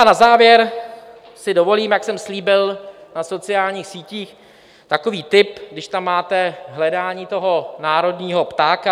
A na závěr si dovolím, jak jsem slíbil na sociálních sítích, takový tip, když tam máte hledání toho národního ptáka.